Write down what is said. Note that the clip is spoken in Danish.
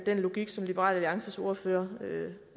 den logik som liberal alliances ordfører